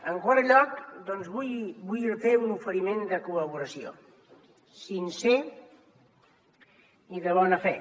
en quart lloc doncs vull fer un oferiment de col·laboració sincer i de bona fe